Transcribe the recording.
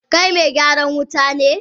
Kai Megyaran wuta ne?